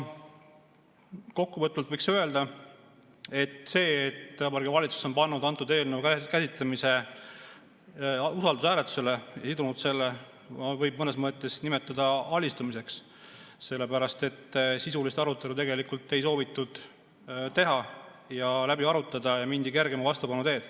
Kokkuvõtvalt võiks öelda, et seda, et Vabariigi Valitsus on sidunud selle eelnõu usaldushääletusega, võib mõnes mõttes nimetada alistumiseks, sellepärast et sisulist arutelu tegelikult ei soovitud teha, seda läbi arutada, ja mindi kergema vastupanu teed.